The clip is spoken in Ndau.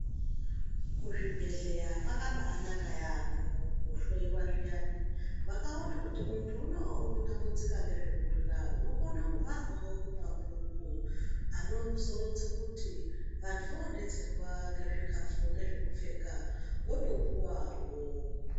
Kuzvibhedhlera kwakabaanaka yaampho koohloyiwa zviyani, vakaona kuti muntu uno unotambudzika ngezvekurya , unokone kubharwawo mumabhuku, anozoronze kuti vantu voodetserwa ngezvikhafu nezvekupfeka, wotopuwawo.